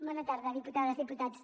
bona tarda diputades diputats